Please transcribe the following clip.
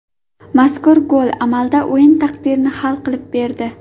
Mazkur gol amalda o‘yin taqdirini hal qilib berdi.